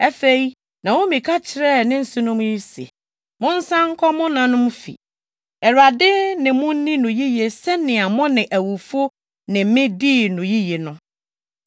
Afei, Naomi ka kyerɛɛ ne nsenom yi se, “Monsan nkɔ mo nanom fi. Awurade ne mo nni no yiye sɛnea mo ne awufo ne me dii no yiye no.